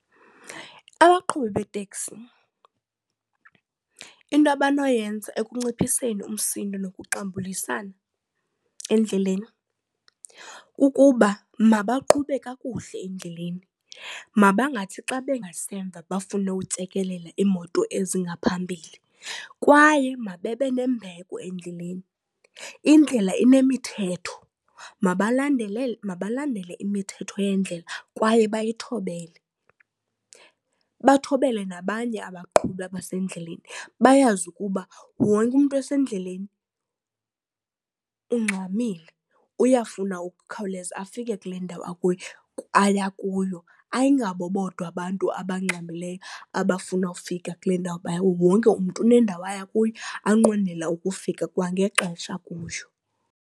Abaqhubi beeteksi into abanoyenza ekunciphiseni umsindo nokuxambulisana endleleni kukuba mabaqhube kakuhle endleleni, mabangathi xa bengasemva bafune utsekelela iimoto ezingaphambili. Kwaye mabebe nembeko endleleni, indlela inemithetho. Mabalandele imithetho yendlela kwaye bayithobele bathobele nabanye abaqhubi abasendleleni, bayazi ukuba wonke umntu osendleleni ungxamile uyafuna ukukhawuleza afike kule ndawo aya kuyo. Ayingabo bodwa abantu abangxamileyo abafuna ufika kule ndawo baya, wonke umntu nendawo aya kuyo anqwenela ukufika kwangexesha kuyo.